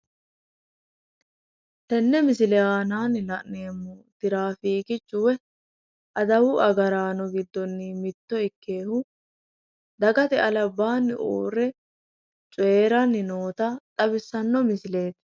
Tenne misile aananni la'neemmo tiraafiikichu woy adawu agaraano giddonni mitto ikkeyoohu dagate albaanni uurre coyiiranni noota xawissanno misileeti.